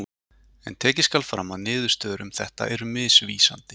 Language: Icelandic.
En tekið skal fram að niðurstöður um þetta eru misvísandi.